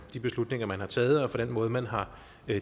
de beslutninger man har taget og den måde man har